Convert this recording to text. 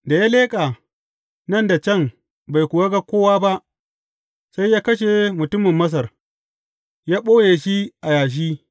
Da ya leƙa nan da can bai kuwa ga kowa ba, sai ya kashe mutumin Masar, ya ɓoye shi a yashi.